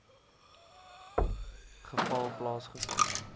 geval plaasge vind